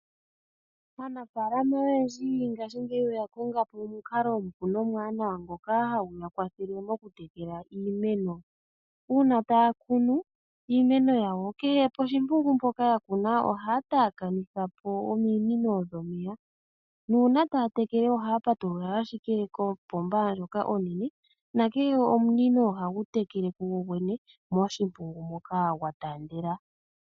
Aanafaalama oyendji ngaashingeyi oya kongapo omupu nomwanawa ngoka hagu yakwathele mokutekela iimeno . Uuna taya kunu iimeno , kehe koshimpungu mpoka yakuna ohaya taakanithapo ominino dhomeya nuuna taya tekele ohaya patulula ashike koopoomba ndhoka oonene, nakehe omunino ohagu tekele kugogwene moshimpungu moka gwataandela.